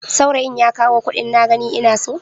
Saurayin ya kawo kuɗin na gani ina so?